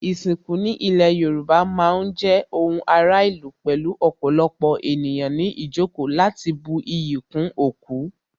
Ìsìnkú ní ilé Yorùbá má ń jẹ́ ohun ara ìlú pẹ̀lú ọ̀pọ̀lọpọ̀ ènìyàn ní ìjókòó láti bu iyì kún òkú